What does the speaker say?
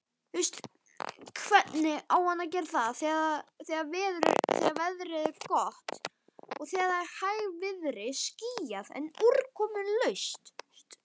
Veður er gott, hægviðri, skýjað, en úrkomulaust.